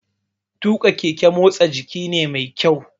Tuƙa keke motsa jiki ne mai kyau